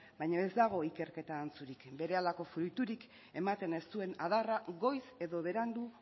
baino ez dago ikerketa antzurik berehalako fruiturik ematen ez duen adarra goiz edo berandu